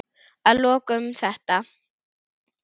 Að lokum þetta.